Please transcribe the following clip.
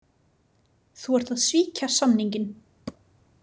Þú ert að svíkja samninginn.